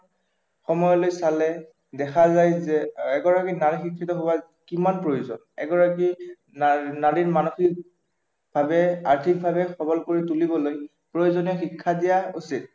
সময়লৈ চালে দেখা যায় যে এগৰাকী নাৰী শিক্ষিত হোৱাৰ কিমান প্ৰয়োজন এগৰাকী নাৰীৰ মানসিক ভাৱে আৰ্থিকভাৱে সৱল কৰি তুলিবলৈ প্ৰয়োজনীয় শিক্ষা দিয়া উচিত